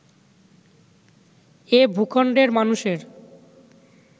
এ ভূখণ্ডের মানুষের